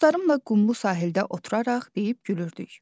Dostlarımla qumlu sahildə oturaraq deyib gülürdük.